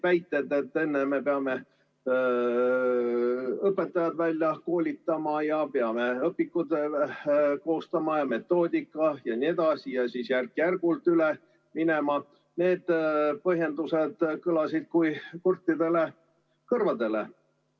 Väited, et enne me peame välja koolitama õpetajad, koostama õpikud ja metoodika jne ning siis järk-järgult üle minema – need põhjendused kõlasid kui kurtidele kõrvadele.